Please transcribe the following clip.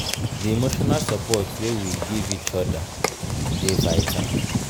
di emotional support wey we give each other dey vital.